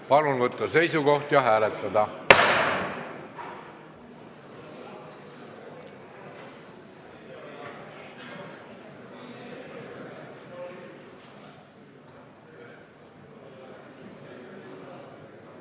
Palun võtta seisukoht ja hääletada!